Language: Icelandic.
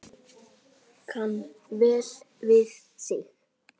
Kann vel við sig